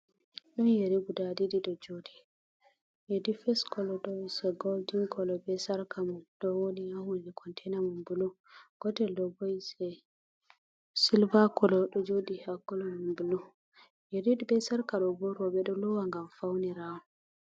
Ɗon yeri guda ɗiɗi ɗo joɗi a difes kolo ɗo se goldin kolo be sarka mum don wodi ha hunde contina man bulu gotel ɗo bo Is e silva colo ɗo joɗi ha kolo man bulu, yeri be sarka ɗo bo roɓɓe ɗo lowa gam faunira on.